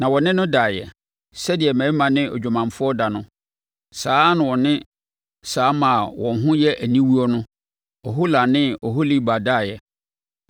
Na wɔne no daeɛ. Sɛdeɛ mmarima ne odwamanfoɔ da no, saa ara na wɔne saa mmaa a wɔn ho yɛ aniwuo no, Ohola ne Oholiba, daeɛ.